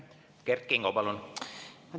Kert Kingo, palun!